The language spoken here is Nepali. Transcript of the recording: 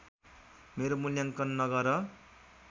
मेरो मुल्याङ्कन नगर